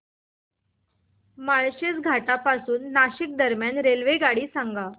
माळशेज घाटा पासून नाशिक दरम्यान रेल्वेगाडी सांगा